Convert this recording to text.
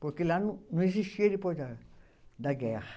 Porque lá não, não existia depois da da guerra.